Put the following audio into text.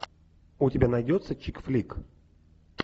у тебя найдется чикфлик